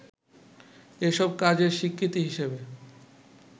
এসব কাজের স্বীকৃতি হিসেবে